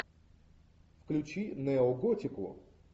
включи неоготику